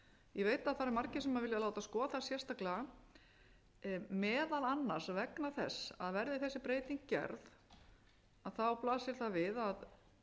ég veit að það eru margir sem vilja láta skoða sérstaklega meðal annars vegna þess að verði þessi breyting gerð blasir það við að